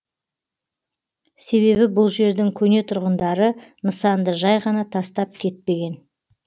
себебі бұл жердің көне тұрғындары нысанды жай ғана тастап кетпеген